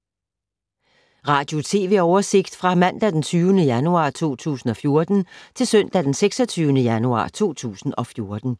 Radio/TV oversigt fra mandag d. 20. januar 2014 til søndag d. 26. januar 2014